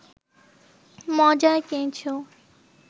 মজার কিছু